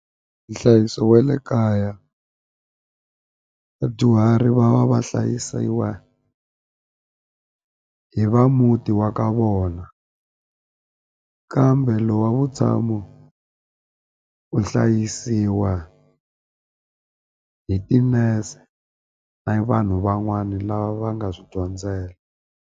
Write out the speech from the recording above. Nhlayiso wa le kaya vadyuhari va va va hlayisiwa hi va muti wa ka vona kambe lowu wa vutshamo u hlayisiwa hi tinese na vanhu van'wani lava va nga swi dyondzela.